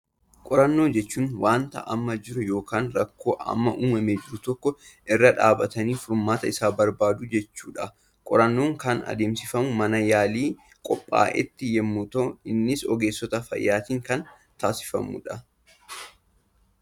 Qorannoo jechuun, waanta amma jiru yookaan rakkoo amma uumamee jiru tokko irra dhaabbatanii furmaata isaa barbaaduu jechuudha. Qorannoon kan adeemsifamu mana yaalii qophaatti yemmuu ta'u, innis ogeessota fayyaatiin kan taasifamudha.